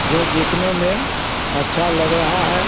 जो देखने में अच्छा लग रहा है।